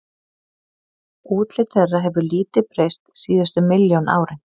Útlit þeirra hefur lítið breyst síðustu milljón árin.